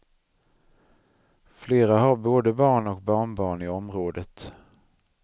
Flera har både barn och barnbarn i området.